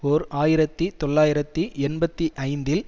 ஓர் ஆயிரத்தி தொள்ளாயிரத்தி எண்பத்தி ஐந்தில்